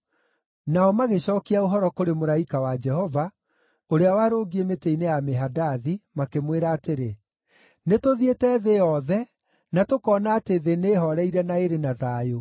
Nao magĩcookia ũhoro kũrĩ mũraika wa Jehova, ũrĩa warũngiĩ mĩtĩ-inĩ ya mĩhandathi, makĩmwĩra atĩrĩ, “Nĩtũthiĩte thĩ yothe na tũkoona atĩ thĩ nĩĩhooreire na ĩrĩ na thayũ.”